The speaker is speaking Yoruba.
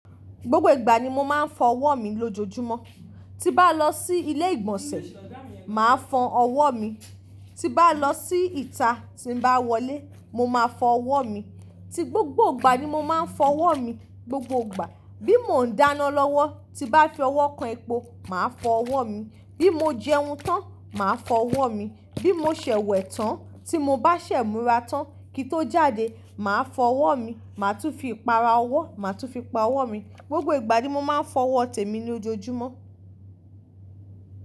Gbogbo ìgbà ni mo máa ń fọ ọwọ́ mi lójoojúmọ́. Ti bá lọ sí ilé ìgbọ̀nsẹ̀, màá fọ ọwọ́ mi. Ti bá lọ sí ìta tí n bá wọlé, mo máa fọ ọwọ́ mi. Ti gbogbo ìgbà ni mo máa ń fọ ọwọ́ mi, gbogbo ìgbà. Bí mo ń dáná lọ́wọ́, tí bá fi ọwọ́ kan epo, màá fọ ọwọ́ mi. Bí mo jẹun tán, màá fọ ọwọ́ mi. Bí mo ṣẹ̀wẹ̀ tán, tí mo bá ṣẹ̀ múra tán kí tó jáde, màá fọ ọwọ́ mi. Màá tún fi ìpara ọwọ́, màá tún fi pa ọwọ́ mi. Gbogbo ìgbà ni mo máa ń fọ ọwọ́ tèmi ní ojoojúmọ́.